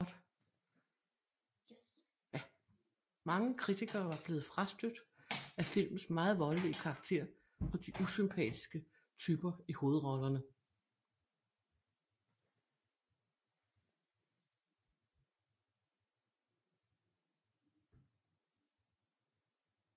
Mange kritikere var blevet frastødt af filmens meget voldelige karaktér og de usympatiske typer i hovedrollerne